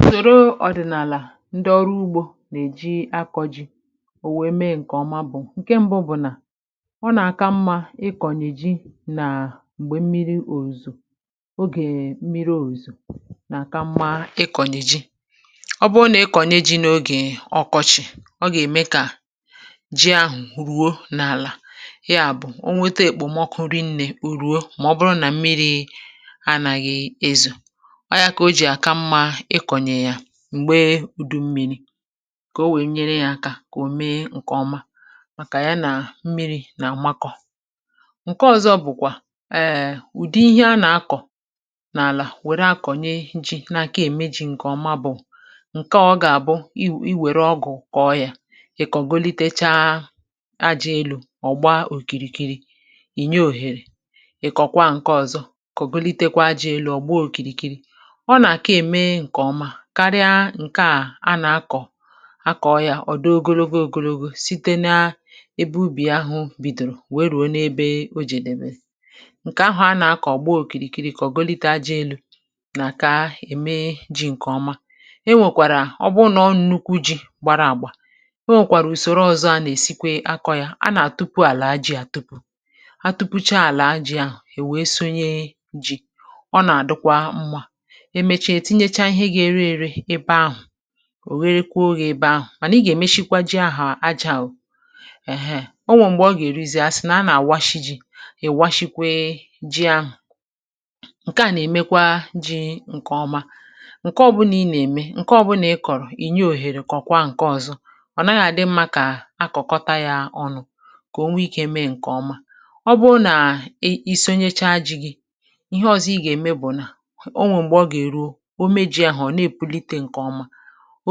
Usòro ọ̀dị̀nàlà ndị ọrụ ugbȯ nà-èji akọ̇ji̇ ò wèe mee ǹkèọma bụ̀ ǹke mbụ bụ̀ nà ọ nà-àka mmȧ ịkọ̀nyèji nà m̀gbè mmiri òzò ogè mmiri òzò nà-àka mmȧ ịkọ̀nyèji ọ bụrụ nà ịkọ̀nye ji̇ n’ogè ọkọchị̀ ọ gà-ème kà ji ahụ̀ ruo n’àlà ya bụ̀ o nwete èkpòmọkụ rinnė urùo mà ọ bụrụ nà mmiri anàghị̇ èzò ọ yȧ kà o jì àka mmȧ ịkọ̀nyè yȧ m̀gbe udu mmi̇ri̇ kà o wèe nyere yȧ aka kà ò mee ǹkè ọma màkà ya nà mmịrị̇ nà ụmakọ̀ ǹke ọ̇zọ̇ bụ̀kwà ee ùdi ihe a nà-akọ̀ n’àlà wère akọ̀nye ji̇ nà ǹke ème ji̇ ǹkè ọma bụ̀ ǹke ọ̀ gà-àbụ i wère ọgụ̀ kọ yȧ ị̀ kọ̀golitecha ajȧ elu̇ ọ̀gba òkìrìkiri ìnye òhèrè ị̀kọ̀kwa ǹkẹ ọ̀zọ kọ̀golitekwa ajȧ elu̇ ọ̀gba òkìrìkiri ọ n'aka ème ǹkèọma karịa ǹke à anà-akọ̀ akọ yȧ ọ̀do ogologo ògologo site naa ebe ubì ahụ̇ bìdòrò wèe rùo n’ebe o jedebere ǹkè ahụ̀ anà-akọ̀ gbaa òkìrìkiri kà ọ̀gọlite ajị elu̇ nà ka ème ji ǹkèọma e nwèkwàrà ọbụrụ nà ọ nụkwu ji gbara àgbà e nwèkwàrà ùsòrò ọzọ a nà-èsikwe akọ yȧ a nà àtupu àlà ajị a tupu a tupucha àlà ajị ahụ̀ èwe sonye ji ọ nà àdụkwa mmȧ o nwè ike mechaa ihe ga-ere ere ebe ahụ̀ ò nwerekwu ọ gà ebe ahụ̀ mànà i gà èmeshikwa ji ahụ̀ ajọ̇ àwụ̀ ẹ̀hẹẹ̀ ọ nwẹ̀ m̀gbè ọ gà èru zì ya sị nà a nà àwashi ji̇ ìwashikwe ji ahụ̀ ǹke à nà ẹ̀mẹkwa ji ǹkẹ̀ ọma ǹkẹ̀ ọbụnà ị nà ème ǹkẹ̀ ọbụnà ị kọ̀rọ̀ ìnye òhèrè kọ̀kwaa ǹkẹ ọzọ ọ̀ naghị̇ àdị mmȧ kà akọ̀kọta yȧ ọnụ kà o nwe ikė mee ǹkẹ̀ ọma ọ bụo nà iso nyecha ji gị ihe ọzọ ịgà ème bụ̀ nà o meji̇ ahụ̀ ọ̀ na-èpulite ǹkèọma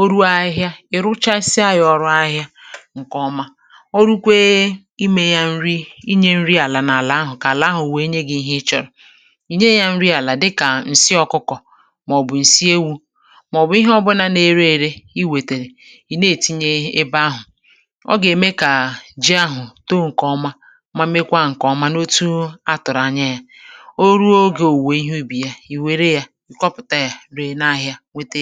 o ruo ahịhịa ì rụchasịa yȧ ọrụ ahịhịa ǹkèọma ọ rụkwee imė yȧ nri inyė nri àlà n’àlà ahụ̀ kà àlà ahụ̀ wèe nye gị̇ ihe ị chọ̀rọ̀ i nye yȧ nri àlà dịkà ǹsị ọkụkọ̀ màọ̀bụ̀ ǹsị ewu̇ màọ̀bụ̀ ihe ọbụna n’ere ere i wètèrè ì na-ètinye ebe ahụ̀ ọ gà-ème kà jì ahụ̀ too ǹkèọma ma mekwa ǹkèọma n’otu a tụ̀rụ̀ anya yȧ o ruo ogė òwùwè ihe ubì ya nwète